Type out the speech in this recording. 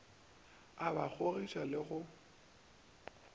o ba kgogiša le go